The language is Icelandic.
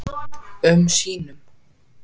um sínum.